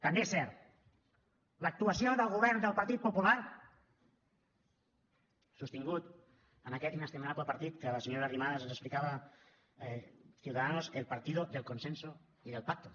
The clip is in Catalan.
també és cert l’actuació del govern del partit popular sostingut en aquest inestimable partit que la senyora arrimadas ens explicava ciudadanos el partido del consenso y del pacto